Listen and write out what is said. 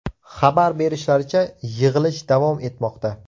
Xabar berishlaricha, yig‘ilish davom etmoqda.